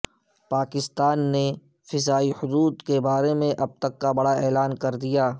پاکستان نے فضائی حدود بارے اب تک کا بڑا اعلان کر دیا